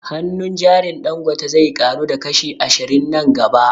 Hannun jarin Dangote zai ƙaru da kashi ashirin nan gaba